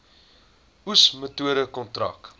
oes metode kontrak